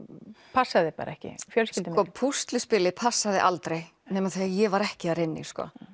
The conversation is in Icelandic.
passaði ekki fjölskyldumyndin sko púsluspilið passaði aldrei nema þegar ég var ekki þar inni